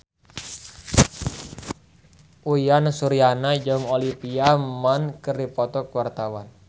Uyan Suryana jeung Olivia Munn keur dipoto ku wartawan